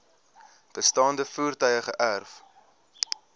bestaande voertuie geërf